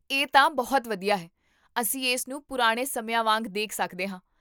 ਇਹ ਤਾਂ ਬਹੁਤ ਵਧੀਆ ਹੈ, ਅਸੀਂ ਇਸਨੂੰ ਪੁਰਾਣੇ ਸਮਿਆਂ ਵਾਂਗ ਦੇਖ ਸਕਦੇ ਹਾਂ